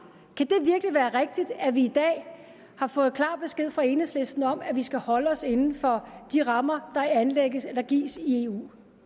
jeg være rigtigt at vi i dag har fået klar besked fra enhedslisten om at vi skal holde os inden for de rammer der anlægges eller gives i